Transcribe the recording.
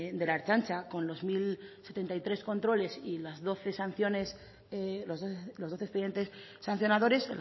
de la ertzaintza con los mil setenta y tres controles y los doce expedientes sancionadores